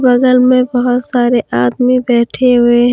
बगल में बहुत सारे आदमी बैठे हुए हैं।